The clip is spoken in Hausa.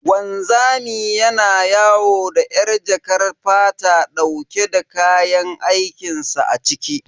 Wanzami yana yawo da yar jakar fata dauke da kayan aikin sa a ciki.